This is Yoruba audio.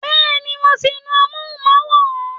Bẹ́ẹ̀ni, mo ti nu amóhùnmáwòrán